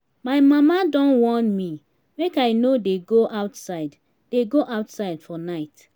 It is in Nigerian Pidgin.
my mama don warn me make i no dey go outside dey go outside for night